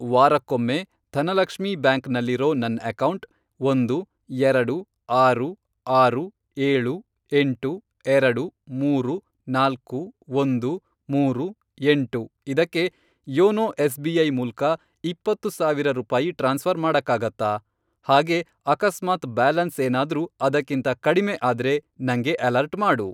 ವಾರಕ್ಕೊಮ್ಮೆ ಧನಲಕ್ಷ್ಮೀ ಬ್ಯಾಂಕ್ ನಲ್ಲಿರೋ ನನ್ ಅಕೌಂಟ್, ಒಂದು, ಎರಡು, ಆರು, ಆರು, ಏಳು, ಎಂಟು, ಎರಡು, ಮೂರು, ನಾಲ್ಕು, ಒಂದು, ಮೂರು, ಎಂಟು, ಇದಕ್ಕೆ ಯೋನೋ ಎಸ್.ಬಿ.ಐ. ಮೂಲ್ಕ ಇಪ್ಪತ್ತು ಸಾವಿರ ರೂಪಾಯಿ ಟ್ರಾನ್ಸ್ಫ಼ರ್ ಮಾಡಕ್ಕಾಗತ್ತಾ? ಹಾಗೇ ಅಕಸ್ಮಾತ್ ಬ್ಯಾಲೆನ್ಸ್ ಏನಾದ್ರೂ ಅದಕ್ಕಿಂತ ಕಡಿಮೆ ಆದ್ರೆ ನಂಗೆ ಅಲರ್ಟ್ ಮಾಡು.